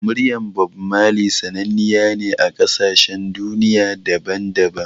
Muryar Bammali sananniya ce a ƙasashen duniya daban-daban